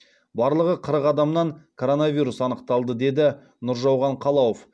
барлығы қырық адамнан коронавирус анықталды деді нұржауған қалауов